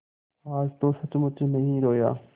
आज तो सचमुच नहीं रोया